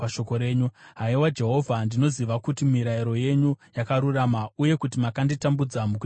Haiwa Jehovha, ndinoziva kuti mirayiro yenyu yakarurama, uye kuti makanditambudza mukutendeka kwenyu.